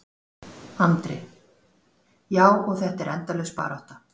Andri: Já, og þetta er endalaus barátta?